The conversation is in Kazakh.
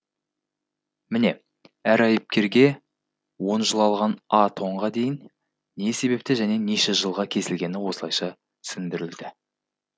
міне әр айыпкерге он жыл алған а тонға дейін не себепті және неше жылға кесілгені осылайша түсіндірілді